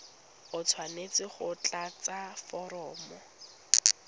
o tshwanetse go tlatsa foromo